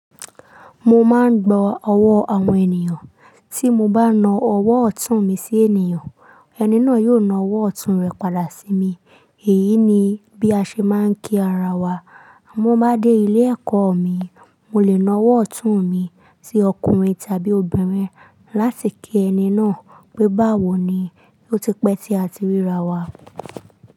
Mo máa ń gbọ́ ọwọ́ àwọn ènìyàn. Tí mo bá na ọwọ́ ọ̀tún mi sí ènìyàn, ẹni náà yóò na ọwọ́ ọ̀tún rẹ̀ padà sí mi. Èyí ni bí a ṣe máa ń kí ara wa. Àmọ́ bá dé ilé ẹ̀kọ́ mi, mo lè na ọwọ́ ọ̀tún mi sí ọkùnrin tàbí obìnrin láti kí ẹni náà pé, "báwo ni?" Ó ti pẹ́ tí a ti ríra wa.